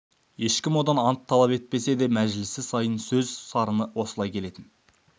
ешкім одан ант талап етпесе де мәжілісі сайын сөз сарыны осылай келетін